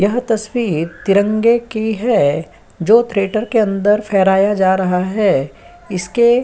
यह तस्वीर की तिरंगे की है जो थिएटर के अंदर फहराया जा रहा है इसके --